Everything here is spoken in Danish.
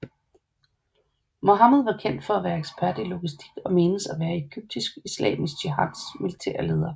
Mohammed var kendt for at være ekspert i logistik og menes at være Egyptisk Islamisk Jihad militære leder